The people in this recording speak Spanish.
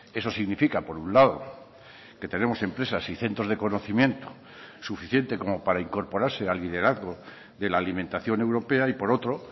eso significa por un lado que tenemos empresas y centros de conocimiento suficiente como para incorporarse al liderazgo de la alimentación europea y por otro